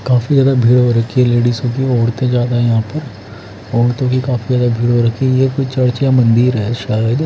काफी ज्यादा भीड़ हो रखी है लेडिसो की औरतें ज्यादा है यहां पर औरतों की काफी ज्यादा भीड़ हो रखी है ये कोई चर्च या मंदिर है शायद।